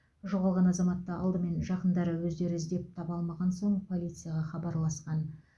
жоғалған азаматты алдымен жақындары өздері іздеп таба алмаған соң полицияға хабарласқан